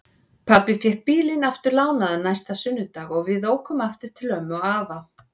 Pabbi fékk bílinn aftur lánaðan næsta sunnudag og við ókum aftur til ömmu og afa.